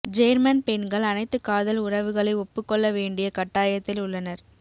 German பெண்கள் அனைத்து காதல் உறவுகளை ஒப்புக்கொள்ள வேண்டிய கட்டாயத்தில் உள்ளனர்